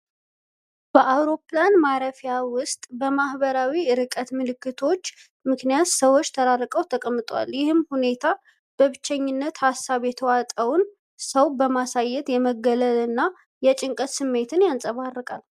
በአውሮፕላን ማረፊያ ውስጥ በማህበራዊ ርቀት ምልክቶች ምክንያት ሰዎች ተራርቀው ተቀምጠዋል፤ ይህ ሁኔታ በብቸኝነት ሀሳብ የተዋጠውን ሰው በማሳየት የመገለል እና የጭንቀት ስሜትን ያንጸባርቃል።